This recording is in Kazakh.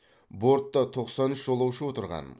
бортта тоқсан үш жолаушы отырған